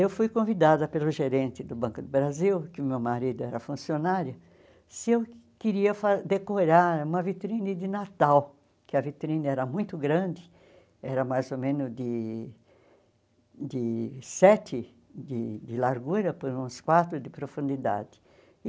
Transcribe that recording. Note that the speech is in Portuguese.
Eu fui convidada pelo gerente do Banco do Brasil, que o meu marido era funcionário, se eu queria fa decorar uma vitrine de Natal, que a vitrine era muito grande, era mais ou menos de de sete de de largura, por uns quatro de profundidade.